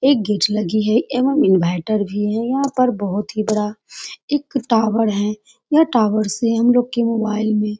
एक गेट लगी है एवम इन्वर्टर भी है यहाँ पर बहुत ही बड़ा एक टावर है यह टावर से हमलोग के मोबाइल में --